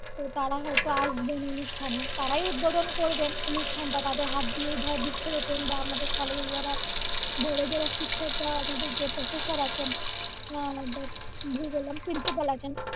তো তারা হয়তো আসবেন অনুষ্ঠানে তারাই উদ্বোধন করবেন অনুষ্ঠানটা তাদের হাত দিয়ে ধর বৃক্ষ রোপন বা আমদের কলেজে যারা বড় যারা শিক্ষক বা আমদের যে professor আছেন আহ ধেত ভুল বললাম principal আছেন